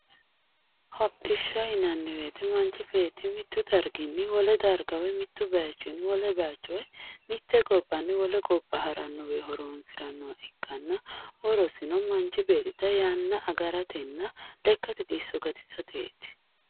Hodhishsha yinnanni woyte manchi beetti mitu darginni wole darga woyi mitu bayichini wole bayicho woyi mite gobbanni wole gobba harani horonsiranoha ikkanna horosino manchi beettira yanna agaratenna lekkasi xisso gatisateti.